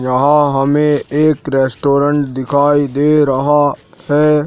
यहां हमें एक रेस्टोरेंट दिखाई दे रहा है।